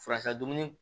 Furasa dumuni